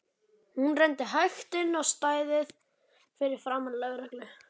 Hún renndi hægt inn á stæðið fyrir framan lögreglu